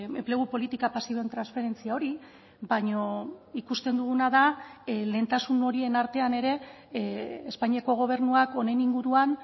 enplegu politika pasiboen transferentzia hori baina ikusten duguna da lehentasun horien artean ere espainiako gobernuak honen inguruan